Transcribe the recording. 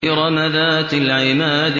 إِرَمَ ذَاتِ الْعِمَادِ